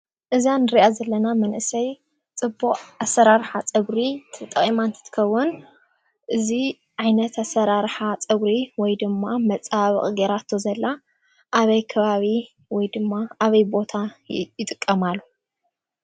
እዛ ንሪኣ ዘለና መንእሰይ ፅቡቕ ኣሰራርሓ ፀጉሪ ተጠቒማ እንትትከውን እዚ ዓይነት ኣሰራርሓ ፀጉሪ ወይ ድማ መፀባበቒ ገይራቶ ዘላ ኣበይ ከባቢ ወይ ድማ ኣበይ ቦታ ይጥቀማሉ?